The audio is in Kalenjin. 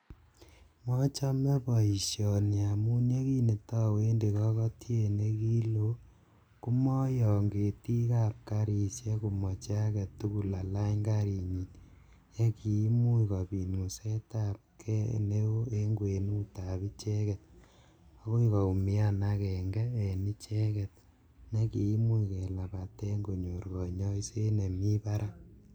Mochome boisioni amun yenikitowendi kokotiet ne kiloo, komoyon ketikab garisiek komoche age tugul alany garinyi, ye kimuch kobit ngusetabgei neo en kwenutab icheket, agoi koumian akenge en icheket ne kimuch kelapatee konyor konyoiseet nemi barak.